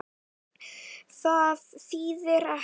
Það þýðir ekkert.